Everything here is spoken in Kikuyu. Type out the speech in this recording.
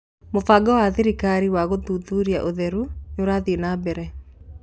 Mũbango wa thirikari wa gũthuthuria ũtheru wa irio ni ũrathiĩ na mbere